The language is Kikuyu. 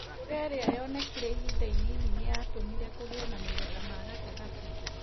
Mbura iria yonekire ihinda inini nĩ yatũmire kũgĩe na magetha ma gatagatĩ.